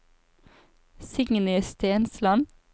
Signy Stensland